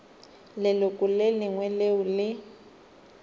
leloko le lengwe leo le